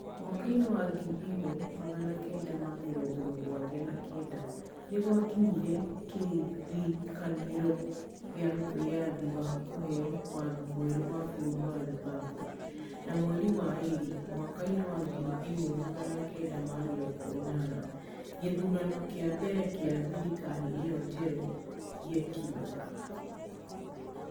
Mwaka-inĩ wa ngiri ĩmwe magana kenda ma mĩrongo mũgwanja na kenda, nĩ gwakinyire kĩrĩkanĩro gĩa wĩyathi na kũheo watho mwerũ wa bũrũri wa Zimbabwe, na mweri-inĩ wa Februarĩ mwaka wa ngiri ĩmwe magana kenda ma mĩrongo inana, gĩthurano kĩa mbere kĩa thirikari ĩyo njerũ gĩekirũo.